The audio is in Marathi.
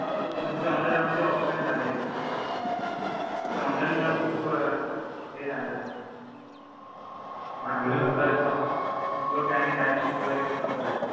फक्त तुमची ऑनलाईन आमची ऑफलाईन झाली एक्झाम. ते ऑनलाईन मुळे खूप हे झालं. आपल्याला कळत नाही. शिकलेले आणि नाही शिकलेले व्यक्ती पण कळत नाही.